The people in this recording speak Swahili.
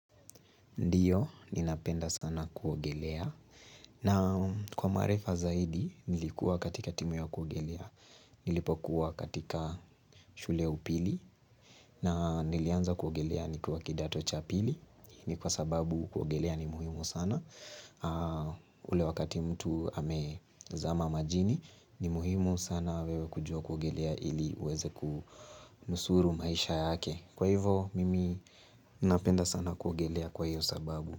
Ndiyo ninapenda sana kuogelea na kwa marefa zaidi nilikuwa katika timu ya kuogelea nilipokuwa katika shule ya upili na nilianza kuogelea nikiwa kidato cha pili ni kwa sababu kuogelea ni muhimu sana ule wakati mtu amezama majini ni muhimu sana wewe kujua kuogelea ili uweze kunusuru maisha yake kwa hivo mimi napenda sana kuogelea kwa hiyo sababu.